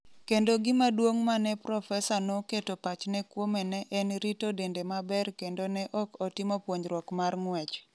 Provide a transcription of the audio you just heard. Kendo gima duong’ ma ne profesa no keto pachne kuome ne en rito dende maber kendo ne ok otimo puonjruok mar ng’wech.